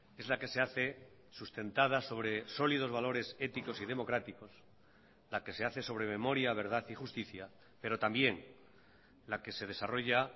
es la que se hace sustentada sobre sólidos valores éticos y democráticos la que se hace sobre memoria verdad y justicia pero también la que se desarrolla